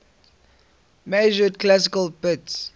measured classical bits